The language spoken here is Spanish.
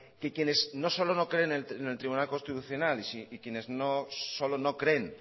que quienes no solo no creen en el tribunal constitucional y quienes no solo no creen